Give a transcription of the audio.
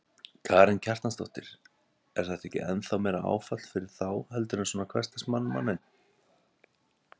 Karen Kjartansdóttir: Er þetta ekki ennþá meira áfall fyrir þá heldur en svona hversdagsmann, manninn?